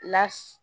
La